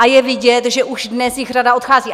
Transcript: A je vidět, že už dnes jich řada odchází.